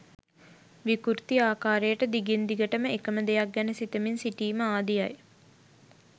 විකෘති ආකාරයට දිගින් දිගටම එක ම දෙයක් ගැන සිතමින් සිටීම ආදිය යි.